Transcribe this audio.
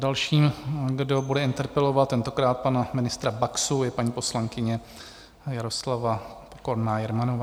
Další, kdo bude interpelovat, tentokrát pana ministra Baxu, je paní poslankyně Jaroslava Pokorná Jermanová.